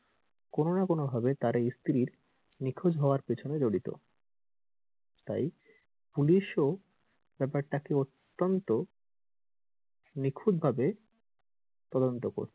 কোন না কোনো ভাবে তার এই স্ত্রীর নিখোঁজ হওয়ার পেছনে জড়িত তাই পুলিশ ও ব্যাপার টাকে অত্যন্ত নিখুঁত ভাবে তদন্ত করছে।